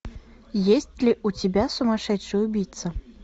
есть ли у тебя сумасшедший убийца